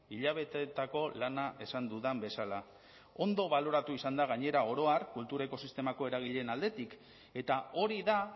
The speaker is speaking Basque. hilabeteetako lana esan dudan bezala ondo baloratua izan da gainera oro har kultura ekosistemako eragileen aldetik eta hori da